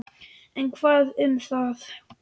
En hvað um það!